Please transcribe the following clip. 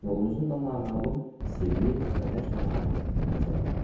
Yolumuzun da naməlum, sirli və tək mənə aid məqsədi var.